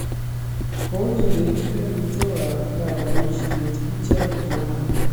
Kokendechi lelutietab borisiet ichek tuwai